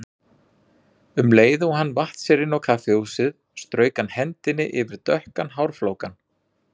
Um leið og hann vatt sér inn á kaffihúsið strauk hann hendinni yfir dökkan hárflókann.